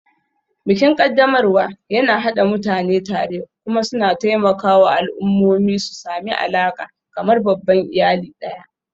Bikin ƙaddamarwa yana haɗa mutane tare kuma suna taimakawa al'ummomi su sami alaƙa, kamar babban iyali ɗaya.